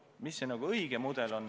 Mis see õige mudel siis on?